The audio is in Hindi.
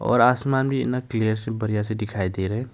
और आसमान भी इतना क्लियर सा बढ़िया से दिखाई दे रहे है।